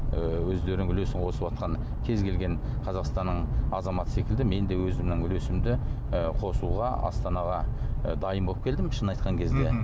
і өздерінің үлесін қосыватқан кез келген қазақстанның азаматы секілді мен де өзімнің үлесімді і қосуға астанаға і дайын болып келдім шынын айтқан кезде мхм